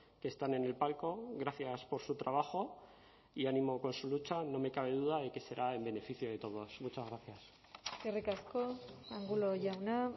que están en el palco gracias por su trabajo y ánimo con su lucha no me cabe duda de que será en beneficio de todos muchas gracias eskerrik asko angulo jauna